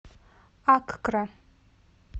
аккра